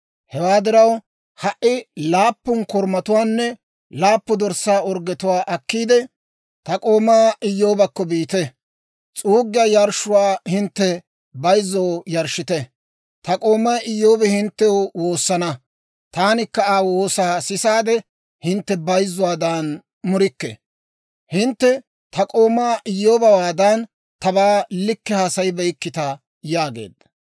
Hewaa diraw, ha"i laappun korumatuwaanne laappun dorssaa orggetuwaa akkiide, ta k'oomaa Iyyoobakko biite; s'uuggiyaa yarshshuwaa hintte bayzzoo yarshshite. Ta k'oomay Iyyoobi hinttew woosana; taanikka Aa woosaa sisaade, hintte bayzzuwaadan murikke. Hintte ta k'oomaa Iyyoobewaadan tabaa likke haasayibeykkita» yaageedda.